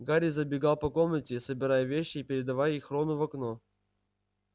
гарри забегал по комнате собирая вещи и передавая их рону в окно